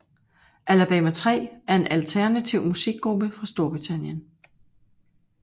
Alabama 3 er en Alternativ musikgruppe fra Storbritannien